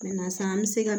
sisan an bɛ se ka